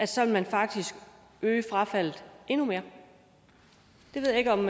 så vil man faktisk øge frafaldet endnu mere det ved jeg ikke om